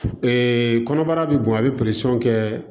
kɔnɔbara bi bɔn a bɛ kɛ